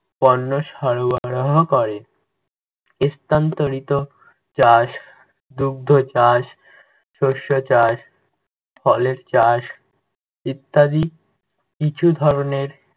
পণ্য সরবরাহ করে। স্থানান্তরিত চাষ, দুগ্ধ চাষ, শস্য চাষ, ফলের চাষ, ইত্যাদি কিছুধরণের